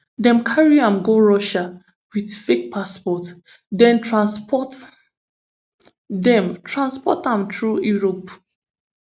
dem carry am go russia wit fake passport den transport den transport am through europe